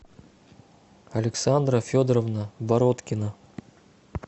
александра федоровна бородкина